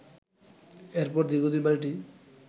এরপর দীর্ঘদিন বাড়িটি